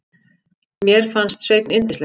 Mér fannst Sveinn yndislegur.